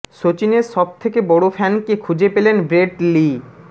সচিনের সব থেকে বড় ফ্যানকে খুঁজে পেলেন ব্রেট লি